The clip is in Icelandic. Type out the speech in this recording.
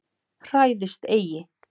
Hræðist eigi!